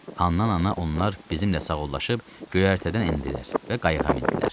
Handan ana onlar bizimlə sağollaşıb göyərtədən endilər və qayıqa mindilər.